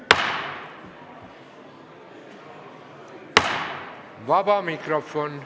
Vaba mikrofon.